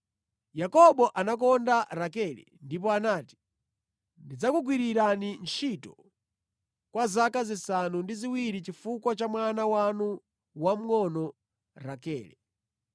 Yakobo anakonda Rakele ndipo anati, “Ndidzakugwirirani ntchito kwa zaka zisanu ndi ziwiri chifukwa cha mwana wanu wamngʼono, Rakele.”